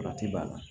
Wagati b'a la